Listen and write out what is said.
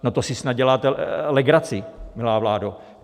No, to si snad děláte legraci, milá vládo!